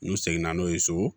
N'u seginna n'o ye so